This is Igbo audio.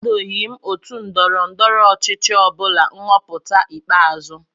Akwadoghị m otu ndọrọ ndọrọ ọchịchị ọbụla nhọpụta ikpeazụ